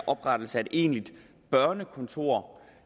oprettelse af et egentligt børnekontor